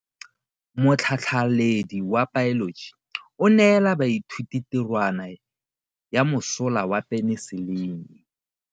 Motlhatlhaledi wa baeloji o neela baithuti tirwana ya mosola wa peniselene.